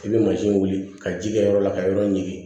I bɛ mansin wuli ka ji kɛ yɔrɔ la ka yɔrɔ ɲigin